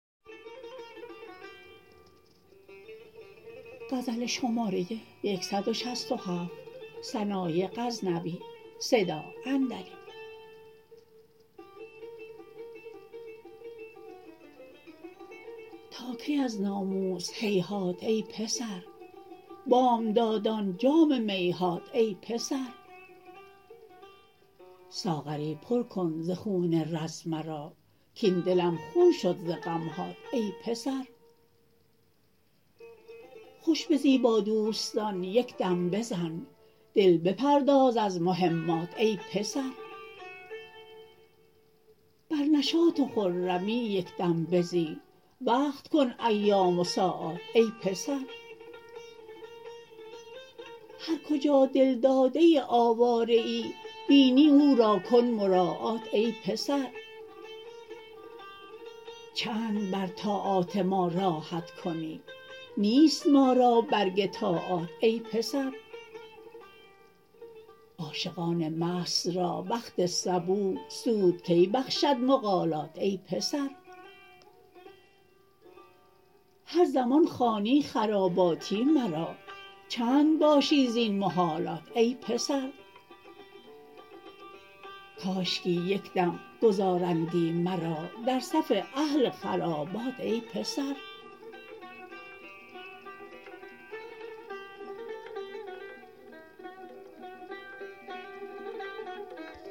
تا کی از ناموس هیهات ای پسر بامدادان جام می هات ای پسر ساغری پر کن ز خون رز مرا کاین دلم خون شد ز غمهات ای پسر خوش بزی با دوستان یک دم بزن دل بپرداز از مهمات ای پسر بر نشاط و خرمی یک دم بزی وقت کن ایام و ساعات ای پسر هر کجا دلداده آواره ای بینی او را کن مراعات ای پسر چند بر طاعات ما راحت کنی نیست ما را برگ طاعات ای پسر عاشقان مست را وقت صبوح سود کی بخشد مقالات ای پسر هر زمان خوانی خراباتی مرا چند باشی زین محالات ای پسر کاشکی یک دم گذارندی مرا در صف اهل خرابات ای پسر